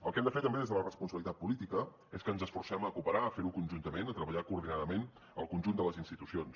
el que hem de fer també des de la responsabilitat política és que ens esforcem a cooperar a fer ho conjuntament a treballar coordinadament el conjunt de les institucions